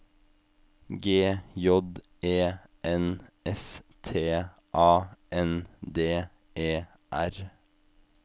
G J E N S T A N D E R